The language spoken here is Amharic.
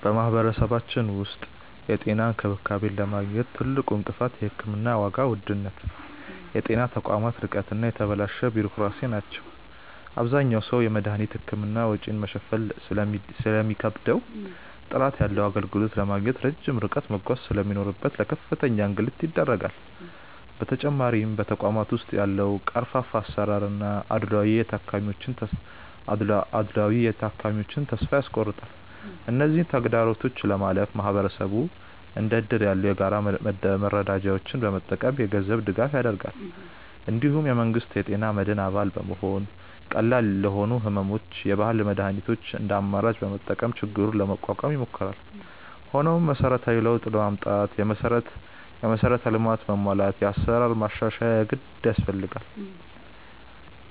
በማህበረሰባችን ውስጥ የጤና እንክብካቤን ለማግኘት ትልቁ እንቅፋት የሕክምና ዋጋ ውድነት፣ የጤና ተቋማት ርቀት እና የተበላሸ ቢሮክራሲ ናቸው። አብዛኛው ሰው የመድኃኒትና የሕክምና ወጪን መሸፈን ስለሚከብደውና ጥራት ያለው አገልግሎት ለማግኘት ረጅም ርቀት መጓዝ ስለሚኖርበት ለከፍተኛ እንግልት ይዳረጋል። በተጨማሪም በተቋማት ውስጥ ያለው ቀርፋፋ አሰራርና አድልዎ የታካሚዎችን ተስፋ ያስቆርጣል። እነዚህን ተግዳሮቶች ለማለፍ ማህበረሰቡ እንደ እድር ያሉ የጋራ መረዳጃዎችን በመጠቀም የገንዘብ ድጋፍ ያደርጋል። እንዲሁም የመንግስት የጤና መድን አባል በመሆንና ቀላል ለሆኑ ሕመሞች የባህል መድኃኒቶችን እንደ አማራጭ በመጠቀም ችግሩን ለመቋቋም ይሞክራል። ሆኖም መሰረታዊ ለውጥ ለማምጣት የመሠረተ ልማት መሟላትና የአሰራር ማሻሻያ የግድ ያስፈልጋል።